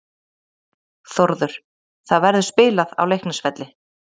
Þórður: Það verður spilað á Leiknisvelli.